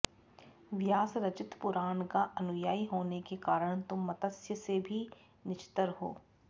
व्यासरचित पुराण का अनुयायी होने के कारण तुम मत्स्य से भी नीचतर हो